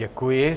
Děkuji.